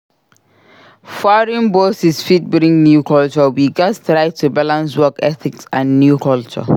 Foreign bosses fit bring new culture. We gats try to balance work ethics and new culture.